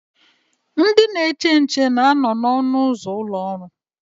Ndị na-eche nche na anọ na ọnụ ụzọ ụlọ ọrụ